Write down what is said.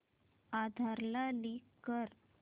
आधार ला लिंक कर